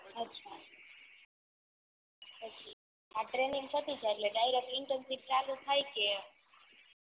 અછાં અછાં આ ટ્રેનિંગ પતિ જાય એટલે ડાઇરેક્ટ ઇંતેરસિપ ચાલુ થાય કે